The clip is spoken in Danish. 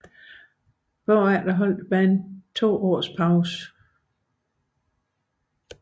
Derefter holdt bandet to års pause